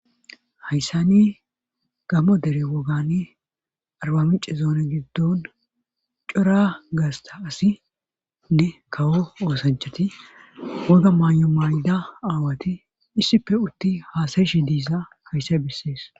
hayssani gamo dere wogani arba mice zoona giddon cora gaasta asinne kawo oosanchati woga maa7o mayda aawati issife utti haasayshi diisa kayssay bessees